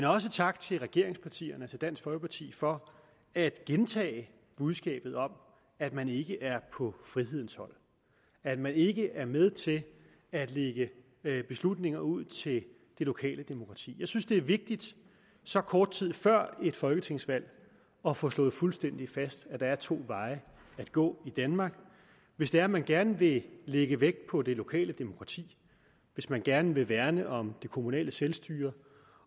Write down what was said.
også tak til regeringspartierne til dansk folkeparti for at gentage budskabet om at man ikke er på frihedens hold at man ikke er med til at lægge beslutninger ud til det lokale demokrati jeg synes at det er vigtigt så kort tid før et folketingsvalg at få slået fuldstændig fast at der er to veje at gå i danmark hvis det er man gerne vil lægge vægt på det lokale demokrati hvis man gerne vil værne om det kommunale selvstyre